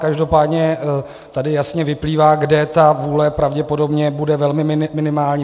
Každopádně tady jasně vyplývá, kde ta vůle pravděpodobně bude velmi minimální.